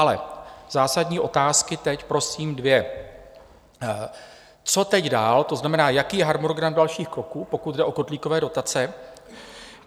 Ale zásadní otázky teď prosím dvě: Co teď dál, to znamená, jaký je harmonogram dalších kroků, pokud jde o kotlíkové dotace?